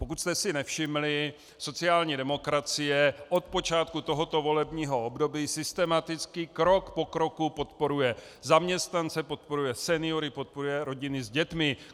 Pokud jste si nevšimli, sociální demokracie od počátku tohoto volebního období systematicky krok po kroku podporuje zaměstnance, podporuje seniory, podporuje rodiny s dětmi.